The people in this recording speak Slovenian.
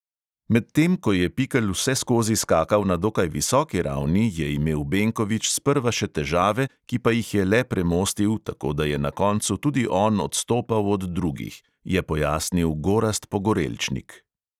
"Medtem ko je pikl vseskozi skakal na dokaj visoki ravni, je imel benkovič sprva še težave, ki pa jih je le premostil, tako da je na koncu tudi on odstopal od drugih," je pojasnil gorazd pogorelčnik.